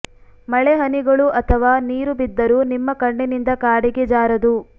ಮಳೆ ಹನಿಗಳು ಅಥವಾ ನೀರು ಬಿದ್ದರೂ ನಿಮ್ಮ ಕಣ್ಣಿನಿಂದ ಕಾಡಿಗೆ ಜಾರದು